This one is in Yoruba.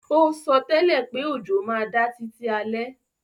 O sótẹ́lẹ̀ pé òjò má da títí alẹ́